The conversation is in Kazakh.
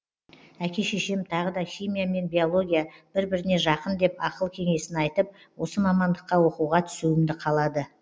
әке шешем тағы да химия мен биология бір біріне жақын деп ақыл кеңесін айтып осы мамандыққа оқуға түсуімді қалады